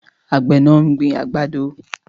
Àgbẹ̀ náà ń gbin àgbàdo